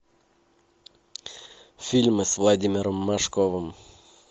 фильмы с владимиром машковым